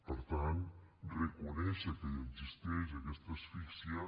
per tant reconèixer que existeix aquesta asfixia